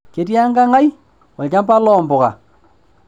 Ketii ekang' ai olchampa loo mpuka.